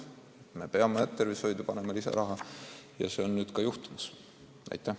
Me peame tervishoidu lisaraha eraldama ja nüüd see saabki teoks.